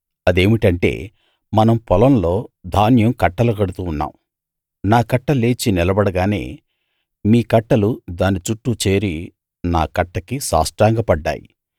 అదేమిటంటే మనం పొలంలో ధాన్యం కట్టలు కడుతూ ఉన్నాం నా కట్ట లేచి నిలబడగానే మీ కట్టలు దాని చుట్టూ చేరి నా కట్టకి సాష్టాంగపడ్డాయి